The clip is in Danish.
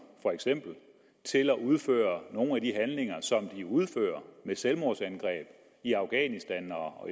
til at udføre nogle af de handlinger som de udfører med selvmordsangreb i afghanistan og